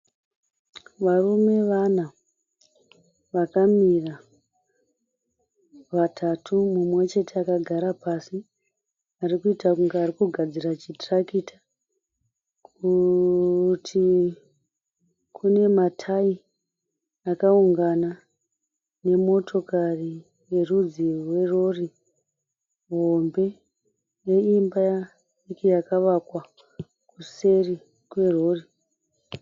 Varume vana vakamira. Vatatu mumwe chete akagara pasi arikuita kunge ari kugadzira chitirakita. Kurutivi kune matayi akaungana nemotokari yerudzi rwerori hombe neimba diki yakavakwa kuseri kwerori.